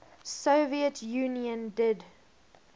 soviet union did